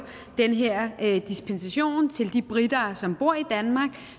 den her dispensation til de briter som bor i danmark